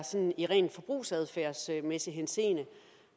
i rent forbrugsadfærdsmæssig henseende